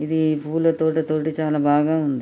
ఇధి పూల తోట తోటి చాలా బాగా ఉంది.